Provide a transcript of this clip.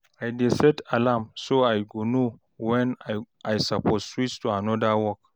I dey set alarm so I go know wen I soppose switch to anoda work